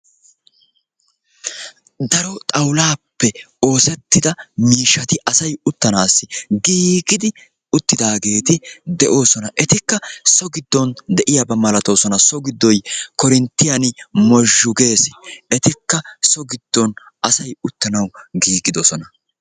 daro xawoulaappe oosettida miishshati asay uttanaassi giigidi uttidaageeti de'oosona. etikka so giddon de'iyaaba malatoosona.